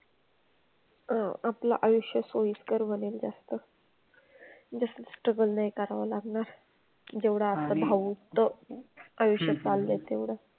अह आपलं आयुष्य सोयीस्कर बनेल जास्त. जास्त struggle नाही करावं लागणार. जेवढं आपलं आयुष्य चाललंय तेवढं.